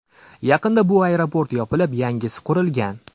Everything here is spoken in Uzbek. Yaqinda bu aeroport yopilib, yangisi qurilgan.